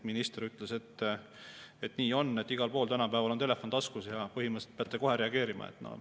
Minister ütles, et nii on, igal pool on tänapäeval telefon taskus ja põhimõtteliselt peate kohe reageerima.